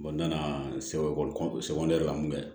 n nana sɛbɛn ekɔliso yɛrɛ la mun bɛ